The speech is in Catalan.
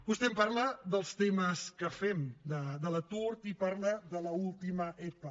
vostè em parla dels temes que fem de l’atur i parla de l’última epa